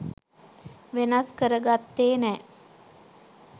වෙනස් කරගත්තේ නෑ.